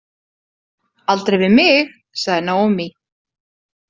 Aldrei við mig, sagði Naomi.